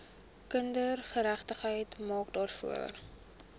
kindergeregtigheid maak daarvoor